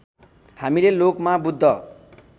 हामीले लोकमा बुद्ध